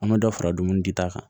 An bɛ dɔ fara dumuni di ta kan